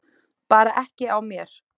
Bara ekki á mér.